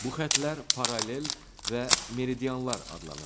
Bu xəttlər paralel və meridianlar adlanır.